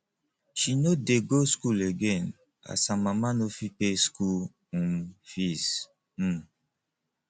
she no dey go skool again as her mama no fit pay skool um fees um